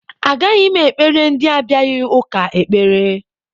Agaghị m ekpere ndị abịaghị ụka ekpere